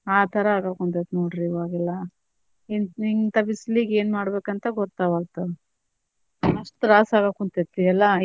ಆ ತರಾ ಆಗಕುಂತೇತಿ ನೋಡ್ರಿ ಇವಾಗ್ ಎಲ್ಲಾ ಇಂತಾ ಬಿಸಿಲಿಗ್ ಎನ್ ಮಾಡಬೇಕ್ ಅಂತ ಗೊತ್ತಾಗವಲ್ದು ಅಷ್ಟ ತ್ರಾಸ ಆಗಾಕುಂತೇತಿ ಎಲ್ಲಾ.